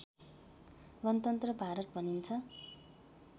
गणतन्त्र भारत भनिन्छ